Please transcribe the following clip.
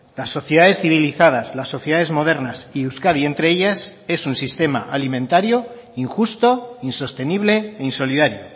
las sociedades civilizadas las sociedades modernas y euskadi entre ellas es un sistema alimentario injusto insostenible e insolidario